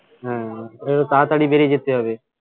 হ্যাঁ একটু তাড়াতাড়ি বেরিয়ে যেতে হবে